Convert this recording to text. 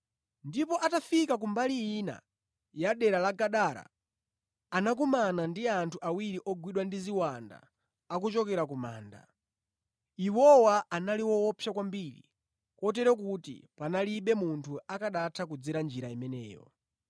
Ndipo atafika ku mbali ina ya dera la Gadara, anakumana ndi anthu awiri ogwidwa ndi ziwanda akuchokera ku manda. Iwowa anali woopsa kwambiri kotero kuti panalibe munthu akanatha kudzera njira imeneyo.